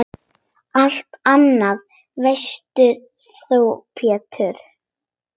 Allt annað veist þú Pétur.